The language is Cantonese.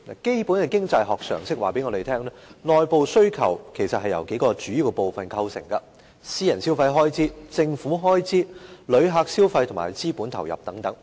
基本的經濟學常識告訴我們，內部需求由數個主要部分構成，包括私人消費開支、政府開支、旅客消費和資本投入等。